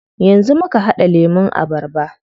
Yanzu muka haɗa lemun abarba.